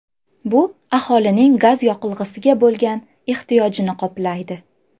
Bu aholining gaz yoqilg‘isiga bo‘lgan ehtiyojini qoplaydi.